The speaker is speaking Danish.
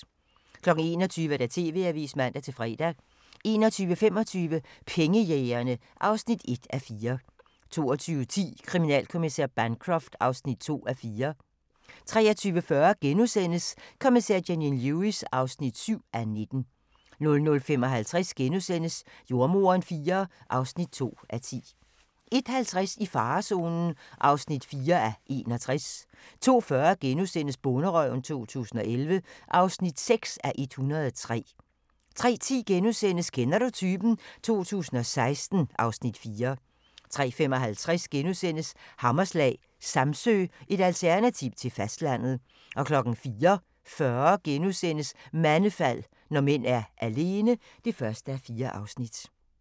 21:00: TV-avisen (man-fre) 21:25: Pengejægerne (1:4) 22:10: Kriminalinspektør Bancroft (2:4) 23:40: Kommissær Janine Lewis (7:19)* 00:55: Jordemoderen IV (2:10)* 01:50: I farezonen (4:61) 02:40: Bonderøven 2011 (6:103)* 03:10: Kender du typen? 2016 (Afs. 4)* 03:55: Hammerslag – Samsø, et alternativ til fastlandet * 04:40: Mandefald – når mænd er alene (1:4)*